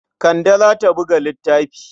Kande za ta buga littafi.